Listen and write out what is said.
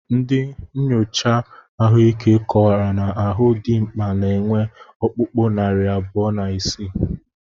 Ndị nchocha ahụike kọwara na ahụ dimkpa na-enwe ọkpụkpụ narị abụọ na isii